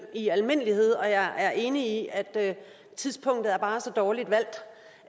i almindelighed og jeg er enig i at tidspunktet bare er så dårligt valgt